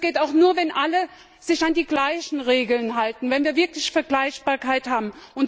Das geht auch nur, wenn alle sich an die gleichen Regeln halten, wenn wir wirklich Vergleichbarkeit haben.